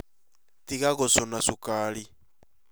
Tiga gũcũna cukari